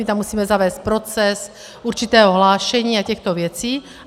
My tam musíme zavést proces určitého hlášení a těchto věcí.